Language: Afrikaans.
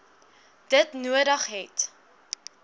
dit nodig het